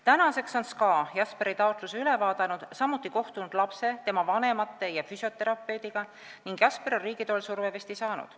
Tänaseks on SKA Jesperi taotluse üle vaadanud, samuti kohtunud lapse, tema vanemate ja füsioterapeudiga ning Jesper on riigi toel survevesti saanud.